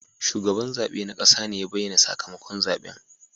Shugaban zabe na kasa ne ya bayyana sakamakon zaben.